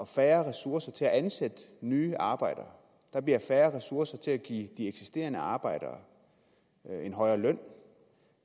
færre ressourcer til at ansætte nye arbejdere der bliver færre ressourcer til at give de eksisterende arbejdere en højere løn